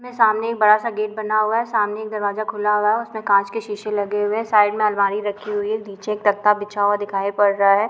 सामने बड़ा-सा गेट बना हुआ है सामने एक दरवाजा खुला हुआ है और उसमे कांच के शीश लगे हुए हैं | साइड में अलमारी रखी हुई है नीचे एक तख्ता बीछा हुआ दिखाई पड़ रहा है।